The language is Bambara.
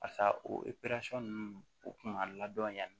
Barisa o ninnu o kun ka ladɔn